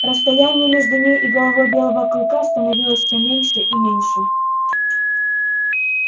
расстояние между ней и головой белого клыка становилось всё меньше и меньше